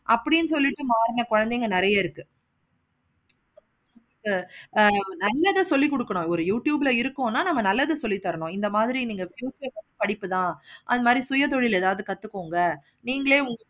அப்படின்னு சொல்லிட்டு மாறுற குழந்தைங்க நெறைய இருக்கு. நல்லதா சொல்லி தரணும். ஆஹ் ஒரு youtube ல இருக்கணும்னா நல்லதா சொல்லி தரணும். இந்த மாதிரி நீங்க படிப்பு தான் அது மாதிரி சுய தொழில் எதாச்சி கத்துக்கோங்க நீங்களே